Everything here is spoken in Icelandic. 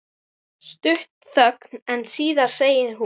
Stutt þögn en síðan segir hún